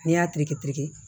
N'i y'a terikɛ tiriki